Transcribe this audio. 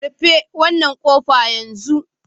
Rufe wannan kofa yanzu!